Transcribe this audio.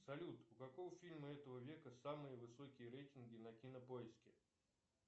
салют у какого фильма этого века самые высокие рейтинги на кинопоиске